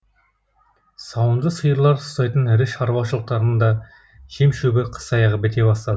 сауынды сиырлар ұстайтын ірі шаруашылықтардың да жем шөбі қыс аяғы біте бастады